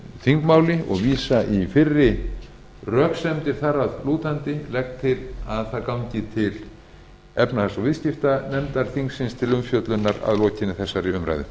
þingmálinu og vísa í fyrri röksemdir þar að lútandi ég legg til að það gangi til háttvirtrar efnahags og viðskiptanefndar þingsins til umfjöllunar að lokinni þessari umræðu